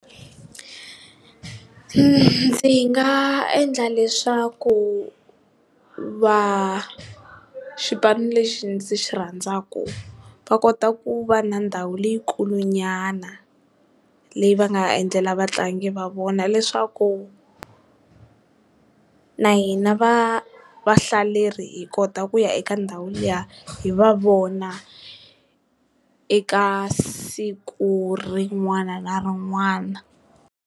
Ndzi nga endla leswaku va xipano lexi ndzi xirhandzaku va kota ku va na ndhawu leyi kulu nyana leyi va nga endlela vatlangi va vona, leswaku na hina va vahlaleri hi kota ku ya eka ndhawu liya hi va vona eka siku rin'wana na rin'wana.